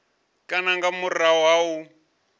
kana nga murahu ha u